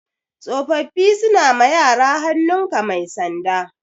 Tsofaffi suna ma yara hannun ka mai sanda